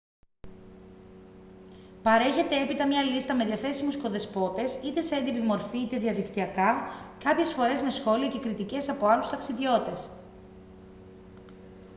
παρέχεται έπειτα μια λίστα με διαθέσιμους οικοδεσπότες είτε σε έντυπη μορφή είτε διαδικτυακά κάποιες φορές με σχόλια και κριτικές από άλλους ταξιδιώτες